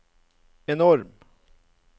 enorm